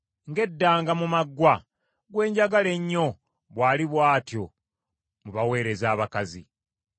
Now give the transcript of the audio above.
Ng’eddanga mu maggwa, gwe njagala ennyo bw’ali bw’atyo mu baweereza abakazi.